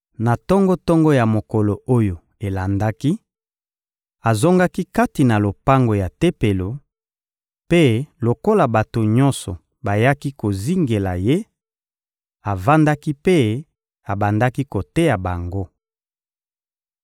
Na tongo-tongo ya mokolo oyo elandaki, azongaki kati na lopango ya Tempelo; mpe lokola bato nyonso bayaki kozingela Ye, avandaki mpe abandaki koteya bango.